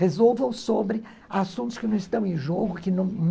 Resolvam sobre assuntos que não estão em jogo, que não